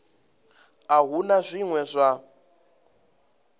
a hu na zwine zwa